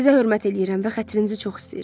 Sizə hörmət eləyirəm və xətrinizi çox istəyirəm.